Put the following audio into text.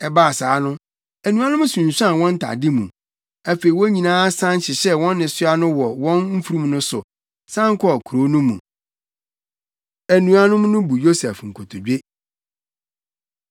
Ɛbaa saa no, anuanom no sunsuan wɔn ntade mu. Afei, wɔn nyinaa san hyehyɛɛ wɔn nnesoa no wɔ wɔn mfurum no so, san kɔɔ kurow no mu. Anuanom No Bu Yosef Nkotodwe